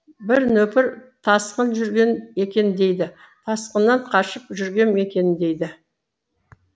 бір нөпір тасқын жүрген екен дейді тасқыннан қашып жүргем екен дейді